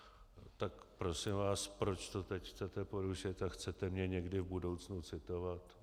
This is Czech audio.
Tak prosím vás, proč to teď chcete porušit a chcete mě někdy v budoucnu citovat?